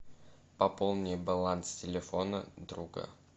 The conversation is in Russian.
пополни баланс телефона друга